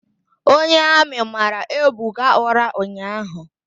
Onye Amị mara Ebuka ụra ụnyaahụ.